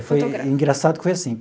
Foi engraçado que foi assim.